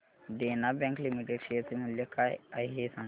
देना bank limited share चे मूल्य काय आहे हे सांगा